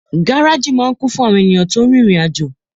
Gáràjì máa n kún fún àwọn èèyàn tó rin